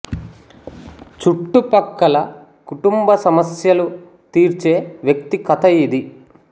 చుట్టు పక్కల కుటుంబ సమస్యలు తీర్చే వ్యక్తి కథ ఇది